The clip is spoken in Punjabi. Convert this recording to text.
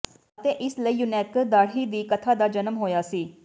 ਅਤੇ ਇਸ ਲਈ ਯੂਨੈਕਸ ਦਾੜ੍ਹੀ ਦੀ ਕਥਾ ਦਾ ਜਨਮ ਹੋਇਆ ਸੀ